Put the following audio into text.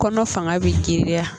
Kɔnɔ fanga bi girinya